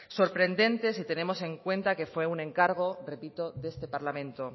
sorprendente si tenemos en cuenta que fue un encargo repito de este parlamento